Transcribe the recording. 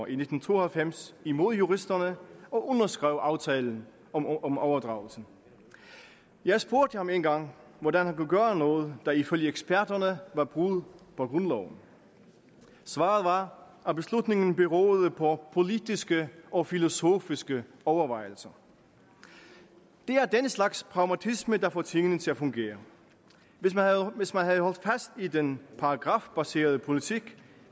i nitten to og halvfems imod juristerne og underskrev aftalen om overdragelsen jeg spurgte ham engang hvordan han kunne gøre noget der ifølge eksperterne var brud på grundloven svaret var at beslutningen beroede på politiske og filosofiske overvejelser det er den slags pragmatisme der får tingene til at fungere hvis man havde holdt fast i den paragrafbaserede politik